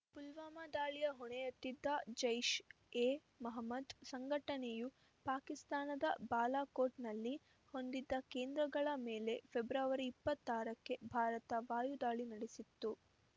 ಪುಲ್ವಾಮಾ ದಾಳಿಯ ಹೊಣೆಹೊತ್ತಿದ್ದ ಜೈಷ್‌ ಎ ಮಹಮ್ಮದ್‌ ಸಂಘಟನೆಯು ಪಾಕಿಸ್ತಾನದ ಬಾಲಾಕೋಟ್‌ನಲ್ಲಿ ಹೊಂದಿದ್ದ ಕೇಂದ್ರಗಳ ಮೇಲೆ ಫೆಬ್ರವರಿ ಇಪ್ಪತ್ತಾರಕ್ಕೆ ಭಾರತ ವಾಯುದಾಳಿ ನಡೆಸಿತ್ತು